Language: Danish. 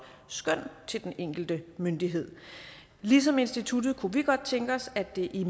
skøn til den enkelte myndighed ligesom instituttet kunne vi godt tænke os at det i